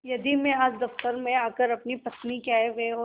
यदि मैं आज दफ्तर में आकर अपनी पत्नी के आयव्यय और